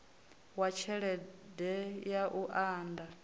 wa tshelede ya u unḓa